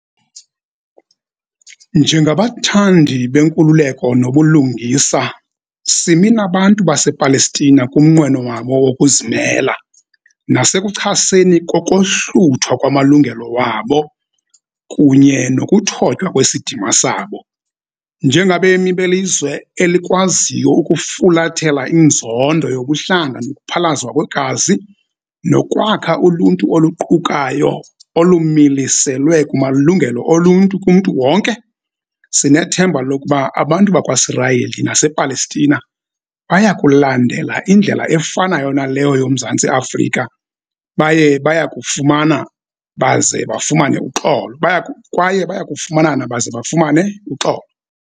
Njengabathandi benkululeko nobulungisa, simi nabantu basePalestina kumnqweno wabo wokuzimela, nasekuchaseni kokohluthwa kwamalungelo wabo kunye nokuthotywa kwesidima sabo. Njengabemi belizwe eli kwaziyo ukufulathela inzondo yobuhlanga nokuphalazwa kwegazi, nokwakha uluntu oluqukayo olumiliselwe kumalungelo oluntu kumntu wonke, sinethemba lokuba abantu bakwaSirayeli nasePalestina bayakulandela indlela efanayo naleyo yoMzantsi Afrika, baye bayakufumanana baze bafumane uxolo bayaku kwaye bayakufumanana baze bafumane uxolo.